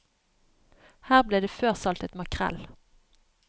Her ble det før saltet makrell.